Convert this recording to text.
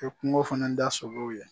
E kungo fana da solow ye